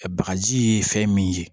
Bagaji ye fɛn min ye